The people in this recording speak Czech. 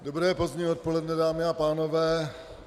Dobré pozdní odpoledne, dámy a pánové.